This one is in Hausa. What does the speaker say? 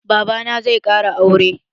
Baba na zai ƙara aure.